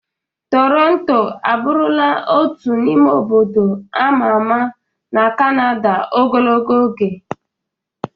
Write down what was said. Toronto abụrụla otu n'ime obodo ama ama na kanada ogologo oge.